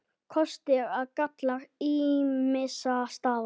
KOSTIR OG GALLAR ÝMISSA STAÐA